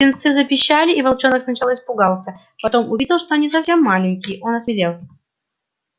птенцы запищали и волчонок сначала испугался потом увидев что они совсем маленькие он осмелел